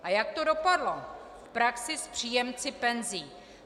A jak to dopadlo v praxi s příjemci penzí?